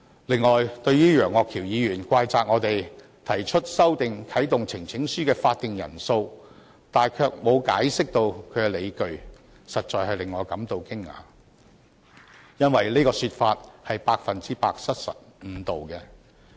此外，對於楊岳橋議員怪責我們沒有就修訂啟動呈請書的法定人數提供解釋理據，實在令我感到驚訝，因為這種說法百分之百失實和誤導。